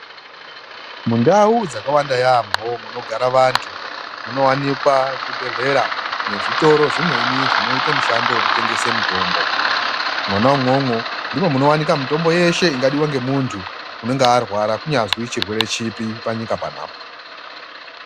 Mundau dzakawanda yaamho munogara antu munowanikwa zvibhedhlera nezvitoro zvimweni zvinoita mushando wekutengesa mitombo. Mwona umwomwo ndimwo munowanika mitombo yeshe ingadiwa ngemuntu unenge arwara kunyazwi chirwere chipi panyika panapa.